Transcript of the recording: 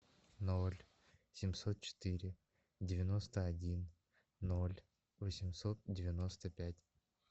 ноль семьсот четыре девяносто один ноль восемьсот девяносто пять